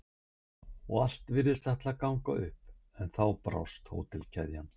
og allt virtist ætla að ganga upp en þá brást hótelkeðjan.